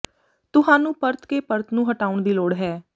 ਤੁਹਾਨੂੰ ਪਰਤ ਕੇ ਪਰਤ ਨੂੰ ਹਟਾਉਣ ਦੀ ਲੋੜ ਹੈ